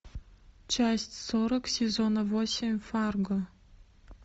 часть сорок сезона восемь фарго